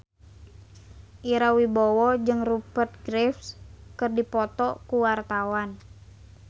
Ira Wibowo jeung Rupert Graves keur dipoto ku wartawan